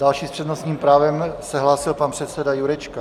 Další s přednostním právem se hlásil pan předseda Jurečka.